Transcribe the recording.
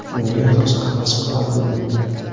Unga rosa havas qilardim.